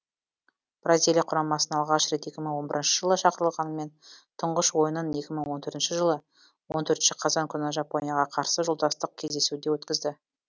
бразилия құрамасына алғаш рет екі мың он бірінші жылы шақырылғанымен тұңғыш ойынын екі мың он төртінші жылы он төртінші қазан күні жапонияға қарсы жолдастық кездесуде өткізді